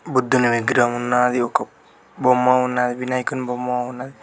బుద్ధుని విగ్రహం ఉన్నాది ఒక బొమ్మ ఉన్నది వినాయకుని బొమ్మ ఉన్నది.